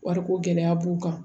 Wariko gɛlɛya b'u kan